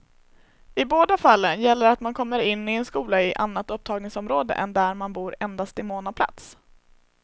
I båda fallen gäller att man kommer in i en skola i annat upptagningsområde än där man bor endast i mån av plats.